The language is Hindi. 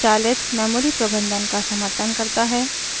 यह स्वचालित मेमोरी प्रबंधन का समर्थन करता है